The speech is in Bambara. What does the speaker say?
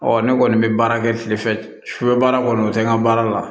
Ɔ ne kɔni bɛ baara kɛ kile fɛ sufɛ baara kɔni o tɛ n ka baara la